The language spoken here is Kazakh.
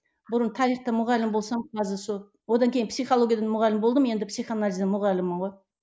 бұрын тарихтан мұғалім болсам қазір сол одан кейін психологиядан мұғалім болдым енді психоанализден мұғаліммін ғой